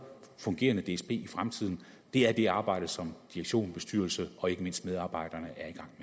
fungerende dsb i fremtiden er det arbejde som direktion bestyrelse og ikke mindst medarbejderne